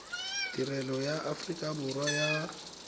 tirelo ya aforika borwa ya